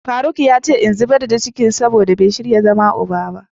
faruk yace in zubar da cikin domin bai shirya zama uba ba.